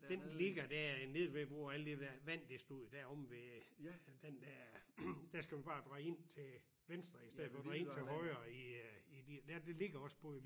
Den ligger der nede ved hvor alt det der vand det stod der omme ved den der der skal du bare dreje ind til venstre istedet for at dreje ind til højre i øh i det ligger også både i